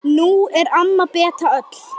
Nú er amma Beta öll.